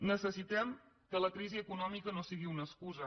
necessitem que la crisi econòmica no sigui una excusa